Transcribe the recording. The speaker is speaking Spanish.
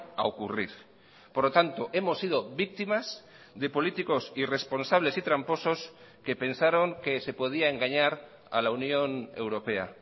a ocurrir por lo tanto hemos sido víctimas de políticos irresponsables y tramposos que pensaron que se podía engañar a la unión europea